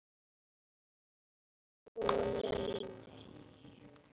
Já já og nei nei.